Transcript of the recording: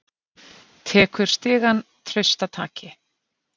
Tekur stigann traustataki.